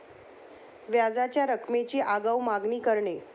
व्याजाच्या रकमेची आगाऊ मागणी करणे